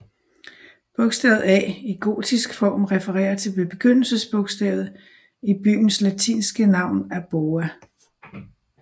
Bogstavet A i gotisk form refererer til begyndelsebogstavet i byens latinske navn Aboa